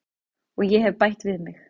Og ég hef bætt við mig.